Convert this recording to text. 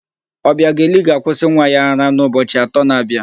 Ọbịageli ga-akwụsị nwa ya ara n'ụbọchi atọ na-abịa.